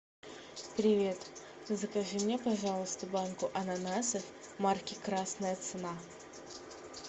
привет закажи мне пожалуйста банку ананасов марки красная цена